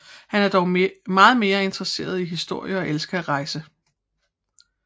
Han er dog meget mere interesseret i historie og elsker at rejse